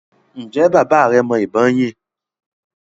ǹjẹ́ bàbá rẹ mọ ìbọn yín?